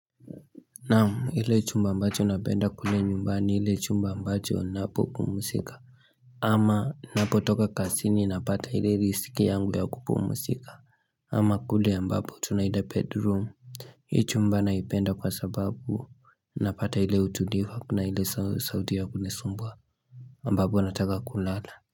Naam hile chumba ambacho napenda kule nyumbani hile chumba ambacho napopumzika ama napotoka kazini napata hile risk yangu ya kupumusika ama kule ambapo tunaita bedroom Hii chumba naipenda kwa sababu napata hile utulivu hakuna hile sauti ya kunisumbua ambapo nataka kulala.